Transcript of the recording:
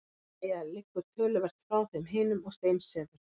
Mæja liggur töluvert frá þeim hinum og steinsefur.